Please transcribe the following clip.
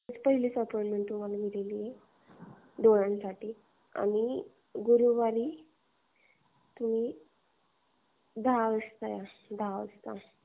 पहिलीच अपॉईंटमेंट तुम्हाला भेटून जाईल डोळ्यांसाठी. आणि दातांसाठी गुरुवारी तुम्ही दहा वाजता या.